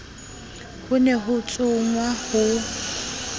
ho ne ho tsongwa ho